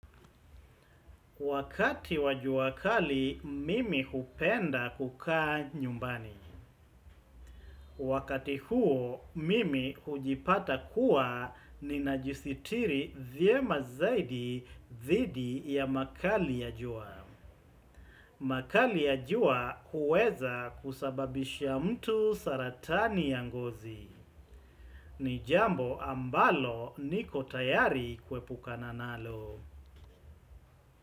Wakati wa jua kali, mimi hupenda kukaa nyumbani. Wakati huo, mimi hujipata kuwa ninajisitiri vyema zaidi dhidi ya makali ya jua. Makali ya jua huweza kusababisha mtu saratani ya ngozi. Ni jambo ambalo niko tayari kuepukana nalo.